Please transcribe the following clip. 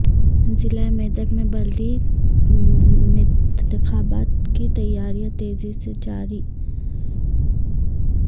ضلع میدک میں بلدی نتخابات کی تیاریاں تیزی سے جاری